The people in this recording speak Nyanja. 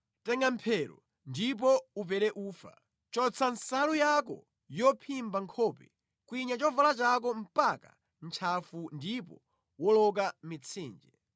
Tenga mphero ndipo upere ufa; chotsa nsalu yako yophimba nkhope kwinya chovala chako mpaka ntchafu ndipo woloka mitsinje.